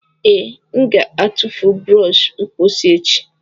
Ee, m ga-atụfu brọsh mposi ochie.